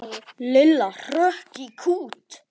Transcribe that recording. Lilla hrökk í kút.